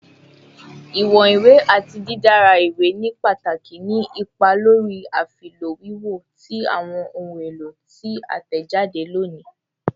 Iwọn iwe ati didara iwe ni pataki ni ipa lori afilọ wiwo ti awọn ohun elo ti a tẹjade loni